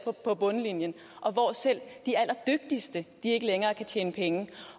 på bundlinjen og hvor selv de allerdygtigste ikke længere kan tjene penge